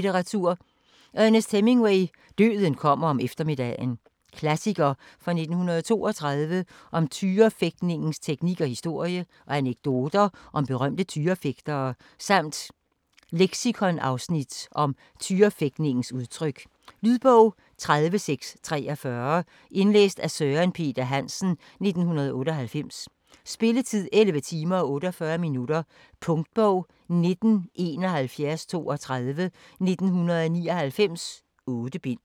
Hemingway, Ernest: Døden kommer om eftermiddagen Klassiker fra 1932 om tyrefægtningens teknik og historie, og anekdoter om berømte tyrefægtere samt leksikonafsnit om tyrefægtningens udtryk. Lydbog 30643 Indlæst af Søren Peter Hansen, 1998. Spilletid: 11 timer, 48 minutter. Punktbog 197132 1999. 8 bind.